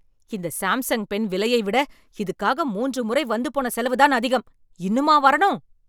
இந்த Samsung pen விலையை விட, இதுக்காக மூன்று முறை வந்து போன செலவுதான் அதிகம் ? இன்னுமா வரணும் ?